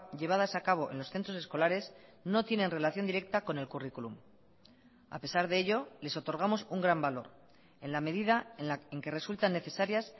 llevadas a cabo en los centros escolares no tienen relación directa con el currículum a pesar de ello les otorgamos un gran valor en la medida en que resultan necesarias